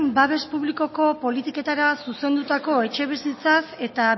babes publikoko politiketara zuzendutako etxebizitzaz eta